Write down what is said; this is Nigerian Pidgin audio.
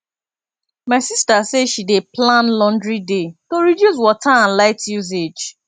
my sista say she dey plan laundry day to reduce water and light usage